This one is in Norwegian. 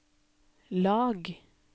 lag